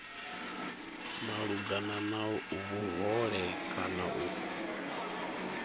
malugana na vhuhole kana u